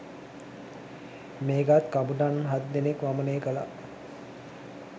මේකත් කපුටන් හත් දෙනෙක් වමනේ කලා